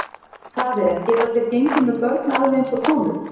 Það er, geta þeir gengið með börn alveg eins og konur?